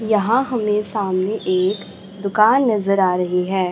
यहां हमें सामने एक दुकान नजर आ रही है।